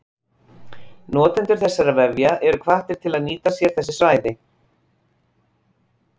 Notendur þessara vefja eru hvattir til að nýta sér þessi svæði.